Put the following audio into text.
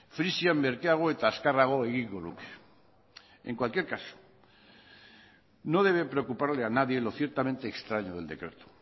frisian merkeago eta azkarrago egingo luke en cualquier caso no debe preocuparle a nadie lo ciertamente extraño del decreto